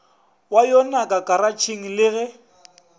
wa yonaka karatšheng le ge